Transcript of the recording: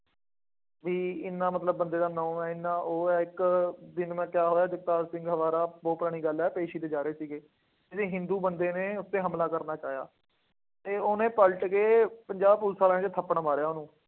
ਬਈ ਐਨਾ ਮਤਲਬ ਬੰਦੇ ਦਾ ਨਾਂ ਹੈ, ਐਨਾ ਉਹ ਹੈ, ਇੱਕ ਦਿਨ ਮੈਂ ਕਿਹਾ ਹੋਇਆ ਜਗਤਾਰ ਸਿੰਘ ਹਵਾਰਾ ਬਹੁਤ ਪੁਰਾਣੀ ਗੱਲ ਹੈ ਪੇਸ਼ੀ ਤੇ ਜਾ ਰਹੇ ਸੀਗੇ। ਕਿਸੀ ਹਿੰਦੂ ਬੰਦੇ ਨੇ ਉਹ ਤੇ ਹਮਲਾ ਕਰਨਾ ਚਾਹਿਆ ਅਤੇ ਉਹਨੇ ਪਲਟ ਕੇ ਪੰਜਾਬ ਪੁਲਿਸ ਵਾਲਿਆਂ ਦੇ ਥੱਪੜ ਮਾਰਿਆ।